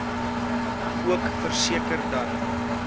ook verseker dat